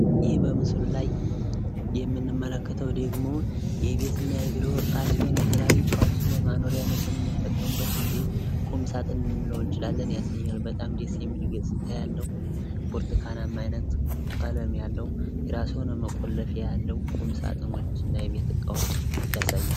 ይህ በምስሉ ላይ የምንመለከተው ደግሞ የቤትና የቢሮ እቃ ሲሆን የተለያዩ እቃዎችን ለማኖርያነት የምንጠቀምበት እንደ ቁም ሳጥን ልንለው እንችላለን ያሳያል በጣም ደስ የሚል ገፅታ ያለው ብርቱካናማ ቀለም ያለው የራሱ የሆነ መቆለፊያ ያለው ቁም ሳጥኖችና የቤት እቃዎች ያሳያል።